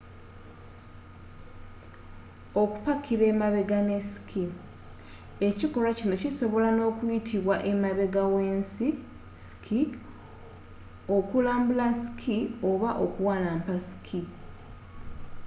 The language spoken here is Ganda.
okupakira emabega ne ski ekikolwa kino kisobola n'okuyitibwa emabega w'ensi ski okulambula ski oba okuwalampa ski